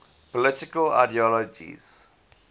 political ideologies